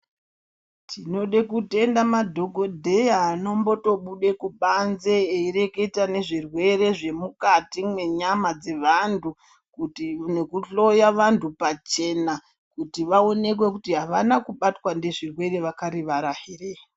Tinode kutenda madhokodheya anombotobuda kubanze eireketa nezvezvirwere zvemukati mwenyama dzevanthu nekuhloya vanthu pachena kuti vaokwe kuti avana kubatwa nezvirwere vakarivara here.